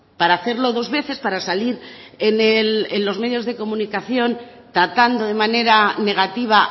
para hacerlo dos veces para salir en los medios de comunicación tratando de manera negativa